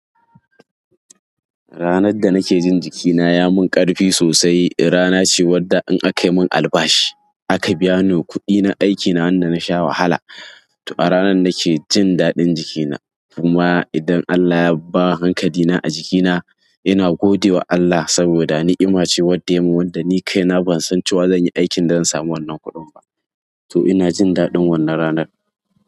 Ranar da nake jin jikina ya mun ƙarfi sosai rana ce wadda in akai mun albashi aka biya ni kuɗi na aikina wanda na sha wahala. To a ranar nake jin daɗin jikina. Kuma idan Allah ya ba hankalina a jikina ina gode wa Allah saboda ni'ima ce wadda ya mun. Wadda ni kai na ban san cewa zan yi aikin da zan samu wannan kuɗin ba. To ina jin daɗin wannan ranar.